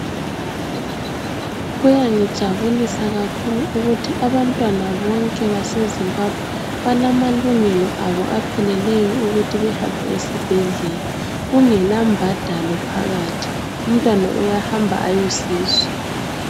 Kuyangijabulisa kakhulu ukuthi abantwana bonke base Zimbabwe balamalungelo abo apheleleyo ukuthi behambe esibhedlela kungelambhadalo phakathi , umntwana uyahamba ayosizwa